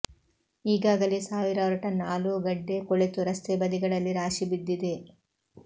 ಈಗಾಗಲೇ ಸಾವಿರಾರು ಟನ್ ಆಲೂಗಡ್ಡೆ ಕೊಳೆತು ರಸ್ತೆ ಬದಿಗಳಲ್ಲಿ ರಾಶಿ ಬಿದ್ದಿದೆ